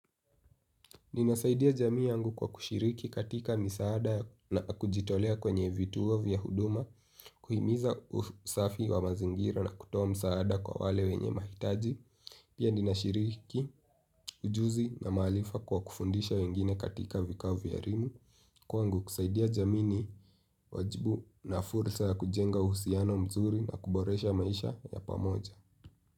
Ninasaidia jamii yangu kwa kushiriki katika misaada na kujitolea kwenye vituo vya huduma. Kuhimiza usafi wa mazingira na kutoa msaada kwa wale wenye mahitaji. Pia ninashiriki ujuzi na maalifa kwa kufundisha wengine katika vikao vya erimu. Kwangu kusaidia jamii ni wajibu na fursa ya kujenga uhusiano mzuri na kuboresha maisha ya pamoja.